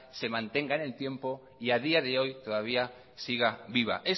se mantenga en el tiempo y a día de hoy todavía siga viva